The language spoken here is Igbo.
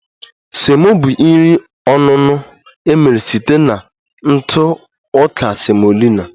Semo bụ nri onuno emere site na ntụ ọka semolina